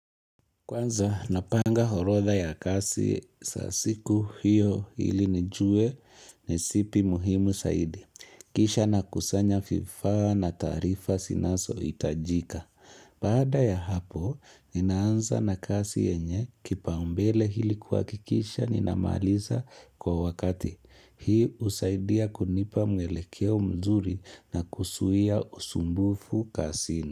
Kwanza napanga horodha ya kazi za siku hiyo ili nijue ni zipi muhimu saidi. Kisha nakusanya vifaa na tarifa zinaso itajika. Baada ya hapo, ninaanza na kasi yenye kipaumbele hili kuhakikisha ninamaliza kwa wakati. Hii husaidia kunipa mwelekeo mzuri na kuzuia usumbufu kasini.